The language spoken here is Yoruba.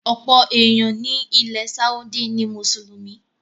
Ọ̀pọ̀ èèyàn ni ilẹ̀ Sáúdí ni Mùsùlùmí